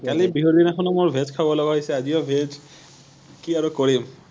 আমি বিহু দিনাখনো মোৰ veg খাব লগা হৈছে, আজিও veg কি আৰু কৰিম৷